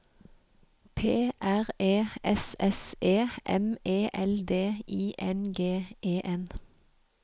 P R E S S E M E L D I N G E N